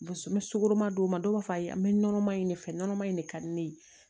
N bɛ sukoroma d'o ma dɔw b'a fɔ ayi an bɛ nɔnɔman in de fɛ nɔnɔma in de ka di ne ye